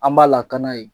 An b'a lakana yen